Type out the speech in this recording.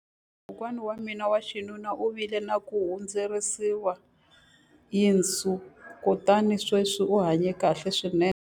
Kokwana wa mina wa xinuna u vile na ku hundziseriwa yinsu kutani sweswi u hanye kahle swinene.